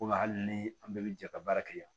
Komi hali ni an bɛɛ bɛ jɛ ka baara kɛ yan